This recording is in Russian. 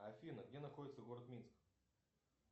афина где находится город минск